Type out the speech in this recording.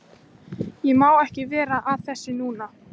Ég má ekki vera að þessu núna.